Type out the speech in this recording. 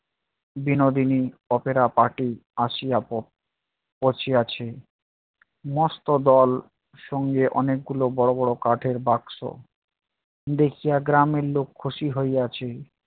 Binodini opera party আসিয়া ব~ বসিয়াছে। মস্ত দল সঙ্গে অনেকগুলো বড় বড় কাঠের বাক্স দেখিয়া গ্রামের লোক খুশি হইয়াছে।